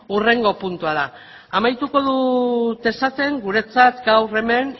hurrengo puntua da amaituko dut esaten guretzat gaur hemen